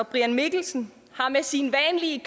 brian mikkelsen har med sine vanlige